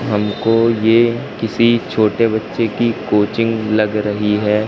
हमको ये किसी छोटे बच्चे की कोचिंग लग रही है।